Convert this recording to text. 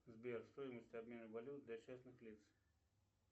сбер стоимость обмена валют для частных лиц